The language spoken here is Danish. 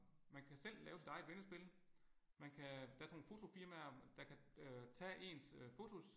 Man kan selv lave sit eget vendespil. Man kan der er sådan nogle fotofirmaer der kan øh tage ens øh fotos